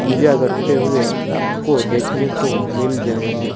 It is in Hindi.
पूजा करते हुए आपको देखने को मिल जाएंगे।